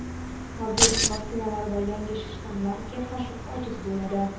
Mavjud vaksinalar yangi shtammga qarshi ojiz bo‘ladi.